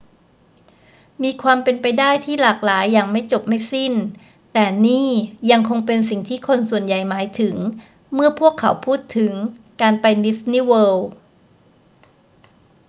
มีความเป็นไปได้ที่หลากหลายอย่างไม่จบไม่สิ้น แต่นี่ยังคงเป็นสิ่งที่คนส่วนใหญ่หมายถึงเมื่อพวกเขาพูดถึง การไปดิสนีย์เวิลด์